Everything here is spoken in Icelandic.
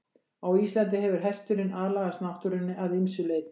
Á Íslandi hefur hesturinn aðlagast náttúrunni að ýmsu leyti.